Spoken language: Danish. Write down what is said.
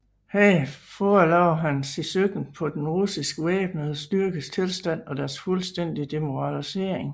Her forelagde han sit syn på de russiske væbnede styrkes tilstand og deres fuldstændige demoralisering